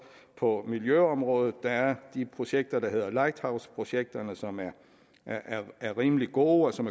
på miljøområdet der er de projekter der hedder lighthouse projekterne som er rimelig gode og som